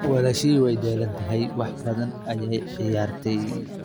Walaashay way daalan tahay, wax badan ayay ciyaartay.